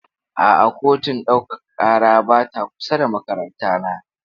A'a, kotun ɗaukaka ƙara ba ta kusa da makarantana.